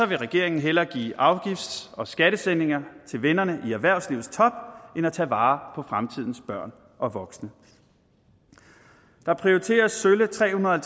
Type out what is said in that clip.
vil regeringen hellere give afgifts og skattesænkninger til vennerne i erhvervslivets top end at tage vare på fremtidens børn og voksne der prioriteres sølle tre hundrede og